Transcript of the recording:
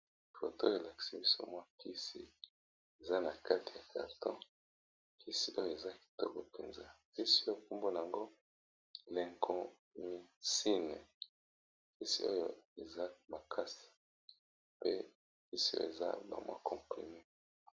Foto oyo elakisi biso mwa kisi eza na kati ya carton, kisi oyo eza kitoko mpenza kisi oyo kombo nango Lincomysine kisi oyo eza makasi pe kisi oyo eza ba mwa comprime.